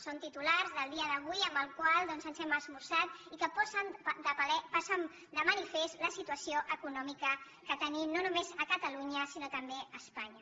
són titulars del dia d’avui amb els quals hem esmorzat i que posen de manifest la situació econòmica que tenim no només a catalunya sinó també a espanya